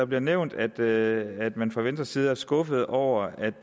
bliver nævnt at man fra venstres side er skuffet over at